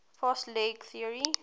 fast leg theory